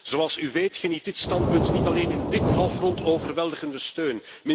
Zoals u weet geniet dit standpunt niet alleen in dit halfrond overweldigende steun.